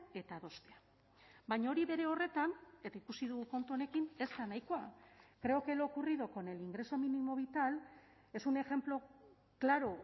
eta adostea baina hori bere horretan eta ikusi dugu kontu honekin ez da nahikoa creo que lo ocurrido con el ingreso mínimo vital es un ejemplo claro